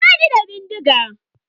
Ba ni da bindiga.